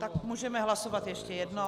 Tak můžeme hlasovat ještě jednou.